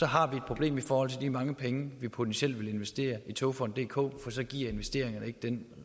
har vi et problem i forhold til de mange penge vi potentielt vil investere i togfonden dk for så giver investeringerne ikke den